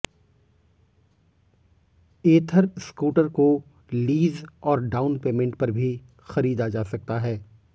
एथर scooter को lease और down payment पर भी खरीदा जा सकता है